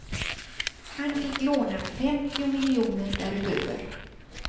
Han fick låna femtio miljoner därutöver.